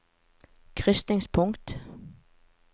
krysningspunkt